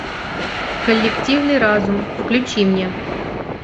коллективный разум включи мне